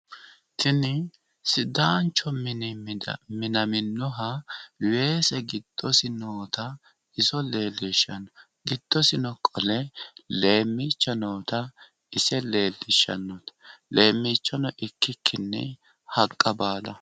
Tini sidaanchu mini minaminoha weese giddosi noota iso leellishshanno. Giddosino qole leemmiicho noota ise leellishshanno leemmiichono ikkikkinni haqqa baala.